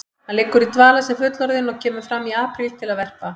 Hann liggur í dvala sem fullorðinn og kemur fram í apríl til að verpa.